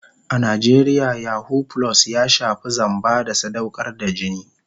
A Najeriya yahoo + ya shafi zamba da sadaukar da jini.